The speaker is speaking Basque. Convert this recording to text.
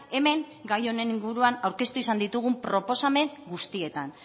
hemen gai honen inguruan aurkeztu izan ditugun proposamen guztietan